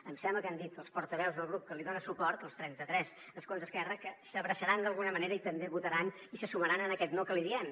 em sembla que han dit els portaveus del grup que li dona suport els trenta tres escons d’esquerra que s’abraçaran d’alguna manera i també votaran i se sumaran a aquest no que li diem